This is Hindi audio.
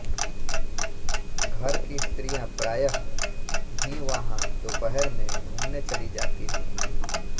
घर की स्त्रियाँ प्रायः ही वहाँ दोपहर में घूमने चली जाती थीं